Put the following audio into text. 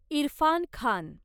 Irfan Khan